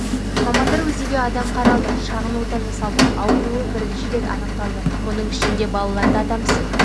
мамандар узиге адам қаралды шағын ота жасалды ауруы бірінші рет анықталды оның ішінде балаларда адам ісік